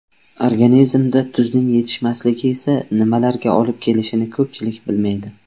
Organizmda tuzning yetishmasligi esa nimalarga olib kelishini ko‘pchilik bilmaydi.